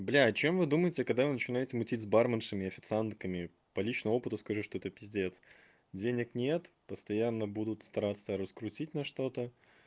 блядь чем вы думаете когда вы начинается мутить с барменшами официантками по личному опыту скажу что это пиздец денег нет постоянно будут стараться раскрутить на что-то